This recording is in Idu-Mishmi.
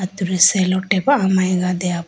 cello tap amayega deya po.